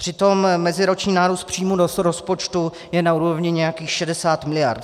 Přitom meziroční nárůst příjmů z rozpočtu je na úrovni nějakých 60 miliard.